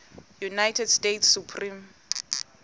united states supreme